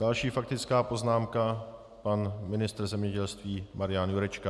Další faktická poznámka, pan ministr zemědělství Marian Jurečka.